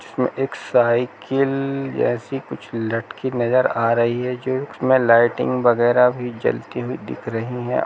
इसमें एक साइकिल जैसी कुछ लटकी नज़र आ रही है जो इसमें लाइटिंग वैगरह भी जलती हुई दिख रही है।